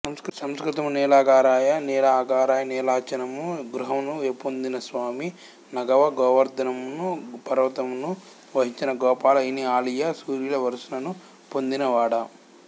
సంస్కృతము నీలాగారయ నీలఅగార నీలాచలమను గృహమును యపొందినస్వామీ నగవ గోవర్ధనమను పర్వతమును వహించిన గోపాల ఇనఆలియ సూర్యుల వరుసను పొందినవాడా